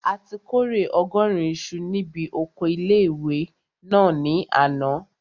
A ti kórè ọgọ́rùn isu ní bi oko ilé-ìwé náà ní àná